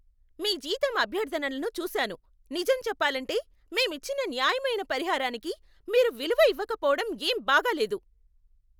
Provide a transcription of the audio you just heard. మీ జీతం అభ్యర్థనలను చూసాను, నిజం చెప్పాలంటే, మేం ఇచ్చిన న్యాయమైన పరిహారానికి మీరు విలువ ఇవ్వకపోవటం ఏం బాగాలేదు.